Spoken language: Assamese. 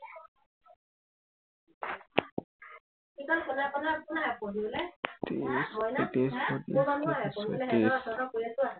তেত্ৰিশ চৌত্ৰিশ পয়ত্ৰিশ ছয়ত্ৰিশ